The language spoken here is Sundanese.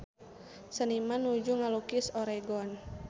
Seniman nuju ngalukis Oregon